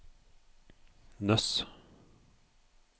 Nøss